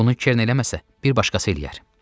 Bunu Kern eləməsə, bir başqası eləyər.